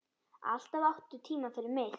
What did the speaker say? Alltaf áttu tíma fyrir mig.